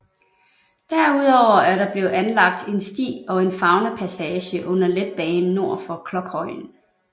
Derudover er der blevet anlagt en sti og en faunapassage under letbanen nord for Klokhøjen